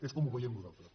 és com ho veiem nosaltres